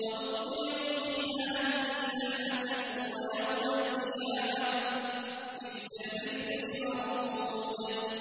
وَأُتْبِعُوا فِي هَٰذِهِ لَعْنَةً وَيَوْمَ الْقِيَامَةِ ۚ بِئْسَ الرِّفْدُ الْمَرْفُودُ